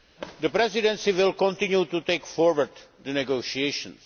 The Presidency will continue to take forward the negotiations.